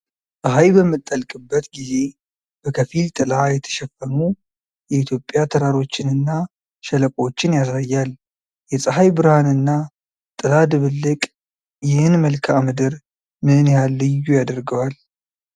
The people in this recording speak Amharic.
ፀሐይ በምትጠልቅበት ጊዜ፣ በከፊል ጥላ የተሸፈኑ የኢትዮጵያ ተራሮችንና ሸለቆዎችን ያሳያል። የፀሐይ ብርሃንና ጥላ ድብልቅ ይህን መልክዓ ምድር ምን ያህል ልዩ ያደርገዋል?